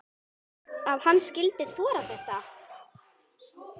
Að hann skyldi þora þetta!